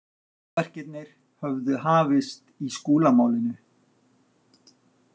Magaverkirnir höfðu hafist í Skúlamálinu.